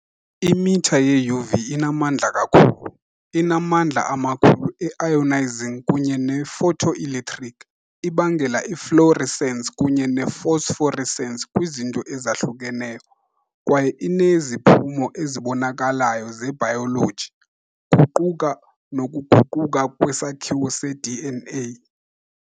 Imitha ye-UV inamandla kakhulu, inamandla amakhulu e-ionizing kunye ne-photoelectric, ibangela i-fluorescence kunye ne -phosphorescence kwizinto ezahlukeneyo, kwaye ineziphumo ezibonakalayo zebhayoloji, kuquka nokuguquka kwesakhiwo se -DNA .